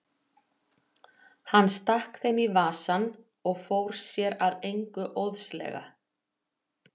Hann stakk þeim í vasann og fór sér að engu óðslega.